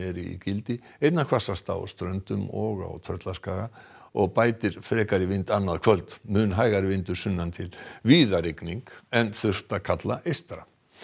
í gildi einna hvassast á Ströndum og á Tröllaskaga og bætir frekar í vind annað kvöld mun hægari vindur sunnan til víða rigning en þurrt að kalla eystra